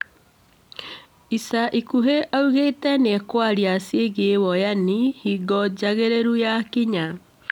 Ica ikuhĩ augite nĩekwaria ciĩgiĩ woyani hingo njagĩrĩru yakinya